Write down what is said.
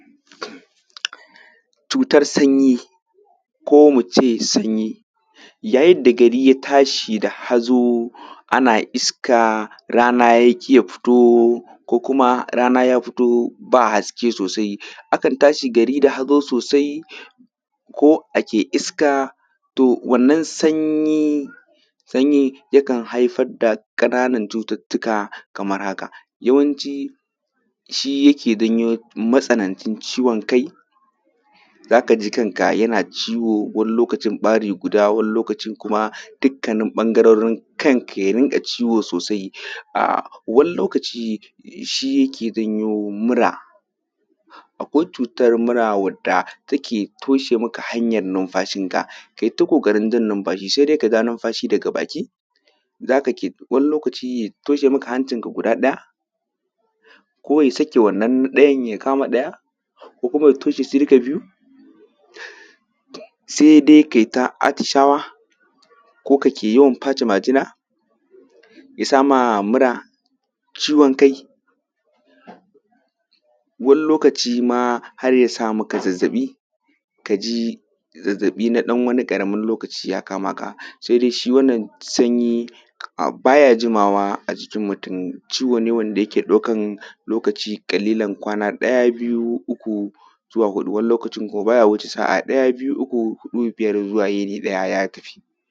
Cutar sanyi ko muce sanyi yayin da gari ya tashi da hazo ana iska rana yaƙi ya fito ko kuma rana ya fito ba haske sosai, akan tashi gari da hazo sosai ko a ke iska to wannan sanyi sanyi yakan haifar da ƙananan cututtuka kamar haka. Yawanci shi yake janyo matsanancin ciwon kai za ka ji kanka yana ciwo wani lokacin ɓari guda wani lokacin kuma dukkanin ɓangarorin kanka yarinka ciwo sosai. A Wani lokaci shi yake janyi mura, akwai cutar mura wandda take toshe maka hanyan nunfashinka kayita ƙoƙarin jan nunfashi sai dai ka ja nunfashi daga baki zaka ke wani lokaci ya toshe maka hancinka guda ɗaya ko ya sake wannan ɗayan ya kama ɗaya, ko kuma ya toshe su duka biyun saidai kayita atishawa ko kake yawan pace majina ya sama mura, ciwon kai wani lokaci ma har ya samaka zazzaɓi, kaji zazzaɓi na ɗan wani ƙaramin lokaci ya kamaka, saidai shi wannan sanyi ba ya jimawa a jikin mutum ciwo ne wanda yake ɗaukan lokaci ƙalilan kwana ɗaya, biyu, uku zuwa huɗu wani lokacin ko ba ya wuce sa’a ɗaya, biyu, uku, huɗu, biyar zuwa yini ɗaya ya tafi.